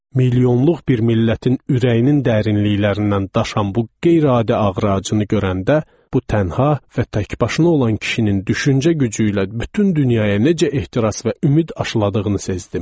Milyonluq bir millətin ürəyinin dərinliklərindən daşan bu qeyri-adi ağrı acını görəndə, bu tənha və təkbaşına olan kişinin düşüncə gücü ilə bütün dünyaya necə ehtiras və ümid aşdığını sezdim.